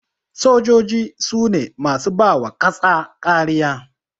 Sojoji sune masu bawa ƙasa kariya